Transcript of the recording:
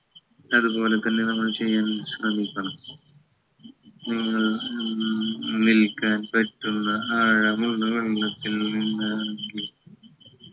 അതുപോലെ തന്നെ നമ്മൾ ചെയ്യാൻ ശ്രമിക്കണം ഉം ഉം നിൽക്കാൻ പറ്റുന്ന ആഴമുള്ള വെള്ളത്തിൽ നിന്നാണെങ്കിൽ